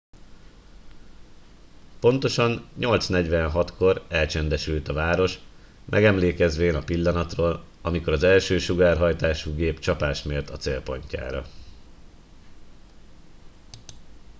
pontosan 8 46 kor elcsendesült a város megemlékezvén a pillanatról amikor az első sugárhajtású gép csapást mért a célpontjára